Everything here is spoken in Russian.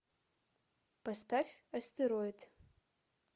поставь астероид